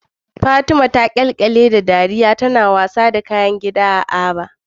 Fatima ta kyalkyale da dariya tana wasa da kayan wasan gida a Aba.